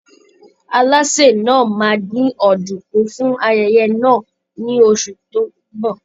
Alásè náà máa dín ọ̀dùnkún fún ayẹyẹ náà ní oṣù tó ń bọ̀.